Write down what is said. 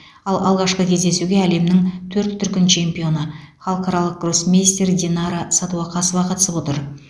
ал алғашқы кездесуге әлемнің төрт дүркін чемпионы халықаралық гроссмейстер динара сәдуақасова қатысып отыр